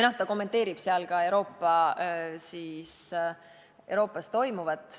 Ta kommenteerib seal ka Euroopas toimuvat.